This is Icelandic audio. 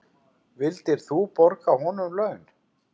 Vildir þú borga honum laun?